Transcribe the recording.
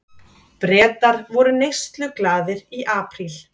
Bretar voru neysluglaðir í apríl